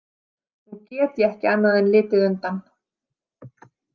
Nú get ég ekki annað en litið undan.